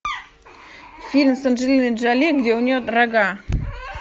фильм с анджелиной джоли где у нее рога